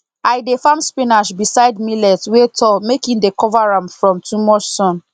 i dey farm spinach beside millet wey tall make e dey cover am from too much sun